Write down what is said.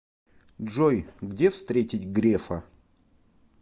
джой где встретить грефа